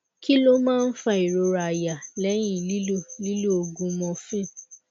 kí ló máa ń fa ìrora àyà lẹyìn lílo lílo oògùn morphine